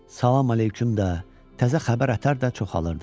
Salam əleyküm də, təzə xəbər ətər də çoxalırdı.